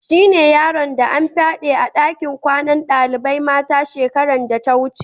Shine yaron da an fyade a dakin kwanan dalibain mata shekaran da ta wuce.